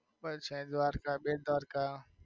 પછી છે દ્વારકા, બેટદ્વારકા.